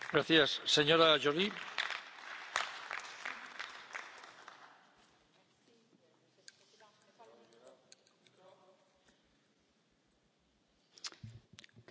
Monsieur le Président, le système d'information Schengen est un outil indispensable pour garantir la liberté de circulation dans l'espace Schengen et la sécurité des citoyens.